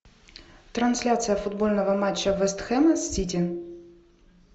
трансляция футбольного матча вест хэма с сити